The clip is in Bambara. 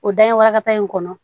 O da in warakata in kɔnɔ